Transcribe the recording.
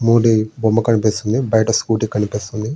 మోడీ బొమ్మ కనిపిస్తుంది. బయట స్కూటీ కనిపిస్తుంది.